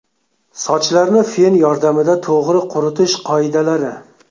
Sochlarni fen yordamida to‘g‘ri quritish qoidalari.